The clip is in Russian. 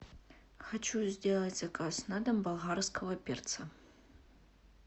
хочу сделать заказ на дом болгарского перца